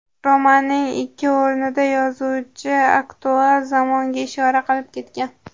Romanning ikki o‘rnida yozuvchi aktual zamonga ishora qilib ketgan.